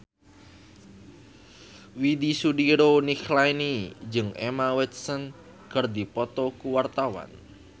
Widy Soediro Nichlany jeung Emma Watson keur dipoto ku wartawan